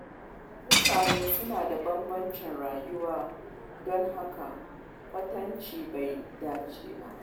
Mutane suna da bambancin rayuwa, don haka kwatance bai dace ba.